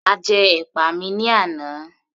A jẹ́ ẹ̀pà ní àná